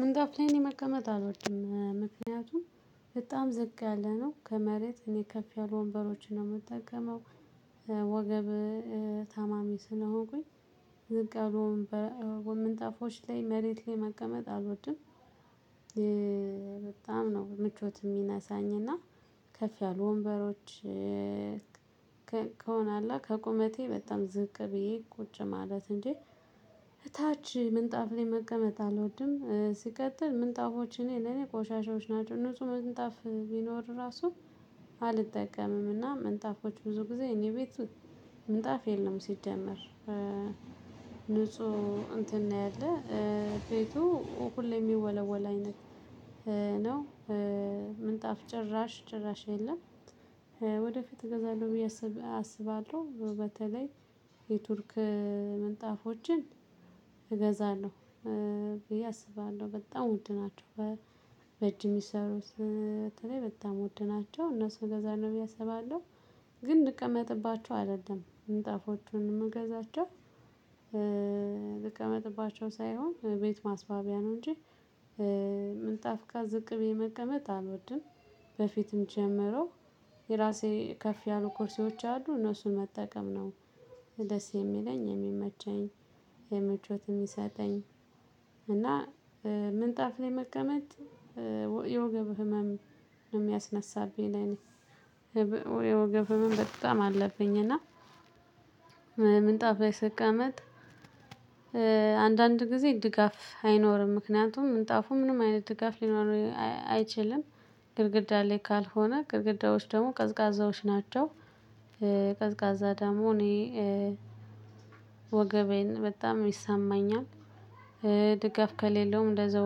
ምንጣፍ ላይ እኔ መቀመጥ አልወድም ምክንያቱም በጣም ዝቅ ያለ ነው ከመሬት እኔ ከፍ ያሉ ወንበሮችን ነው የምጠቀመው። ወገብ ታማሚ ስነሆንኩኝ ዝቅ ያሉ ወንበ ምንጣፎች ላይ መሬት ላይ መቀመጥ አልወድም። በጣም ነው ምቾት የሚነሳኝ እና ከፍ ያሉ ወንበሮች ከሆነ አለ አ ከቁመቴ በጣም ዝቅ ብዬ ቁጭ ማለት እንጂ እታች ምንጣፍ ላይ መቀመጥ አልወድም። ሲቀጥል ምንጣፎች እኔ ለኔ ቆሻሻዎች ናቸው ንጹህ ምንጣፍ ቢኖር ራሱ አልጠቀምም። እና ምንጣፎች ብዙ ጊዜ እኔ ቤት ምንጣፍ የለም። ሲጀመር ንጹህ እንትን ነው ያለው ቤቱ ሁሌ የሚወለወል አይነት ነው። ምንጣፍ ጭራሽ ጭራሽ የለም። ወደፊት እገዛለሁ ብዬ አስባለሁ በተለይ የቱርክ ምንጣፎችን እገዛለሁ ብዬ አስባለሁ በጣም ውድ ናቸው በእጅ የሚሰሩት በተለይ በጣም ውድ ናቸው እነሱ እገዛለሁ ብዬ አስባለሁ። ግን ልቀመጥባቸው አደለም ምንጣፎቹን የምገዛቸው ልቀመጥባቸው ሳይሆን ቤት ማስዋቢያ ነው እንጂ። ምንጣፍ ጋር ዝቅ ብዬ መቀመጥ አልወድም። በፊትም ጀምሮ የራሴ ከፍ ያሉ ኩርሲዎች አሉ እነሱን መጠቀም ነው ደስ የሚለኝ የሚመቸኝ የምቾት የሚሰጠኝ። እና ምንጣፍ ላይ መቀመጥ የወገብ ህመም የሚያስነሳብኝ ለኔ የወገብ ህመም በጣም አለብኝ። እና ምንጣፍ ላይ ስቀመጥ አንዳንድ ጊዜ ድጋፍ አይኖርም ምክንያቱም ምንጣፉ ምንም አይነት ድጋፍ ሊኖር አይችልም። ግድግዳ ላይ ካልሆነ ግድግዳዎች ደግሞ ቀዝቃዛዎች ናቸው። ቀዝቃዛ ደግሞ እኔ ወገቤን በጣም ይሰማኛል። ድጋፍ ከሌለውም እንደዛው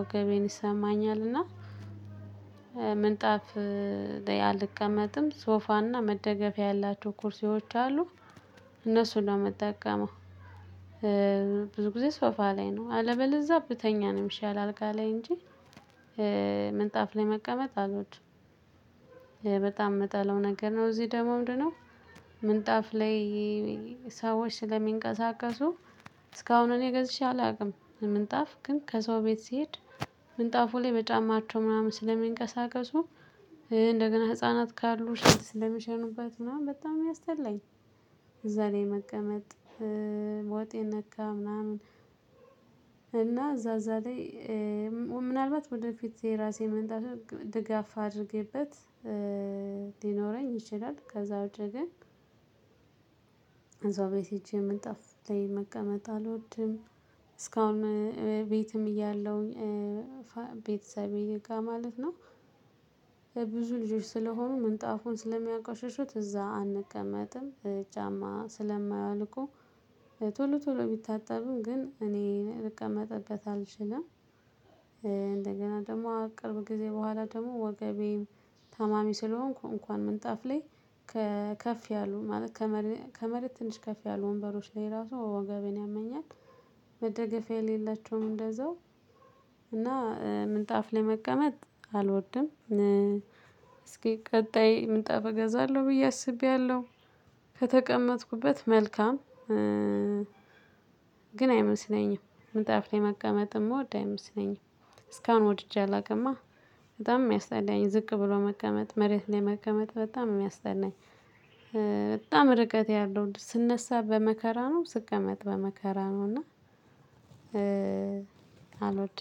ወገቤን ይሰማኛልና። ምንጣፍ ላይ አልቀመጥም። ሶፋና መደገፊያ ያላቸው ኩርሲዎች አሉ እነሱን ነው የምጠቀመው። ብዙ ጊዜ ሶፋ ላይ ነው አለበለዛ ብተኛ ነው የሚሻል አልጋ ላይ እንጂ። ምንጣፍ ላይ መቀመጥ አልወድም። በጣም የምጠለው ነገር ነው እዚህ ደግሞ ምንድነው? ምንጣፍ ላይ ሰዎች ስለሚንቀሳቀሱ እስካሁን እኔ ገዝቼ አላውቅም ምንጣፍ ግን ከሰው ቤት ስሄድ ምንጣፉ ላይ በጫማቸው ምናምን ስለሚንቀሳቀሱ እንደገና ህፃናት ካሉ ሽንት ስለሚሸኑበት ምናምን በጣም የሚያስጠላኝ። እዛ ላይ መቀመጥ ወጥ የነካ ምናምን እና እዛ እዛ ላይ ምናልባት ወደፊት የራሴ ምንጣፍ ድጋፍ አድርጌበት ሊኖረኝ ይችላል። ከዛ ውጪ ግን ሰው ቤት ሄጄ ምንጣፍ ላይ መቀመጥ አልወድም። እስካሁን ቤትም እያለሁኝ ቤተሰቤ ጋር ማለት ነው የብዙ ልጆች ስለሆኑ ምንጣፉን ስለሚያቆሽሹት እዛ አንቀመጥም ጫማ ስለማያወልቁ ቶሎ ቶሎ ቢታጠብም ግን እኔ ልቀመጥበት አልችልም። እንደገና ደግሞ ቅርብ ጊዜ በኋላ ደግሞ ወገቤም ታማሚ ስለሆንኩ እንኳን ምንጣፍ ላይ ከፍ ያሉ ማለት ከመሬት ከመሬት ትንሽ ከፍ ያሉ ወንበሮች ላይ ራሱ ወገቤን ያመኛል። መደገፊያ የሌላቸውም እንደዛው እና ምንጣፍ ለመቀመጥ አልወድም። እስኪ ቀጣይ ምንጣፍ እገዛለሁ ብዬ አስቤያለሁ ከተቀመጥኩበት መልካም ግን አይመስለኝም ምንጣፍ ላይ መቀመጥ የምወድ አይመስለኝም። እስካሁን ወድጄ አላቅማ። በጣም የሚያስጠላኝ ዝቅ ብሎ መቀመጥ መሬት ላይ መቀመጥ በጣም ነው የሚያስጠላኝ። በጣም ርቀት ያለው ስነሳ በመከራ ነው ስቀመጥ በመከራ ነው እና። አልወድም።